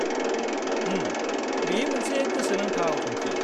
उम, बेयो मोनसे गोसोनांथाव थांखि।